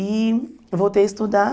E voltei a estudar.